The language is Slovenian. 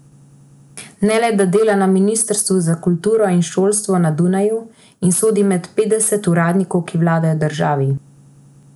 Ne le da dela na Ministrstvu za kulturo in šolstvo na Dunaju in sodi med petdeset uradnikov, ki vladajo državi.